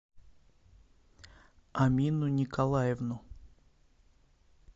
амину николаевну